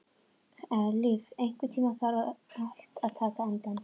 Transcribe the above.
Eilíf, einhvern tímann þarf allt að taka enda.